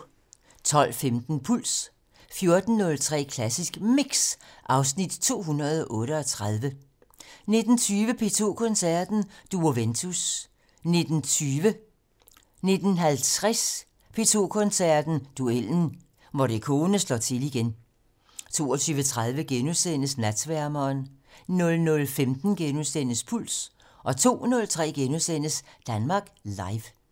12:15: Puls 14:03: Klassisk Mix (Afs. 238) 19:20: P2 Koncerten - Duo Ventus 19:50: P2 Koncerten - Duellen - Morricone slår til igen 22:30: Natsværmeren * 00:15: Puls * 02:03: Danmark Live *